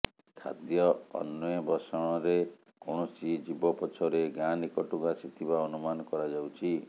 ଖାଦ୍ୟ ଅନେ୍ବଷଣରେ କୌଣସି ଜୀବ ପଛରେ ଗାଁ ନିକଟକୁ ଆସିଥିବା ଅନୁମାନ କରାଯାଉଛି